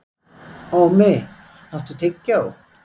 Ómi, áttu tyggjó?